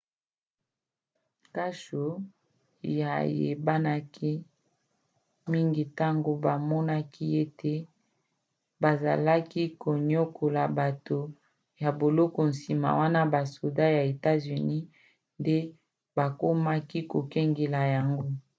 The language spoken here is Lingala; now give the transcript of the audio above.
kasho eyebanaki mingi ntango bamonaki ete bazalaki koniokola bato ya boloko nsima wana basoda ya etats-unis nde bakomaki kokengela yango